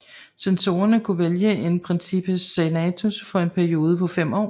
Censorerne kunne vælge en princeps senatus for en periode på fem år